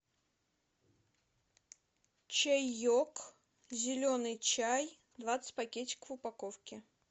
чаек зеленый чай двадцать пакетиков в упаковке